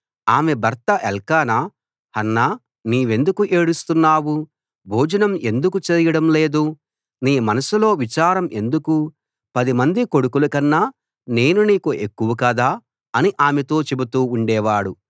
ఆమె భర్త ఎల్కానా హన్నా నీవెందుకు ఏడుస్తున్నావు భోజనం ఎందుకు చేయడం లేదు నీ మనసులో విచారం ఎందుకు పదిమంది కొడుకులకన్నా నేను నీకు ఎక్కువ కాదా అని ఆమెతో చెబుతూ ఉండేవాడు